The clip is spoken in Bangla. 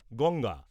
গঙ্গা